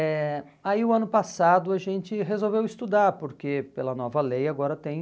eh aí, o ano passado, a gente resolveu estudar, porque pela nova lei agora tem...